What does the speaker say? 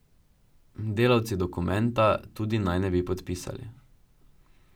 Delavci dokumenta tudi naj ne bi podpisali.